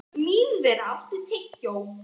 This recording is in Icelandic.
Mínerva, áttu tyggjó?